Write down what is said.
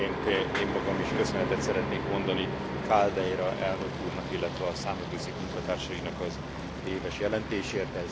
Elsőként én magam is köszönetet szeretnék mondani Celdeira elnök úrnak, illetve a Számvevőszék munkatársainak az éves jelentésért.